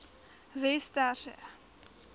westerse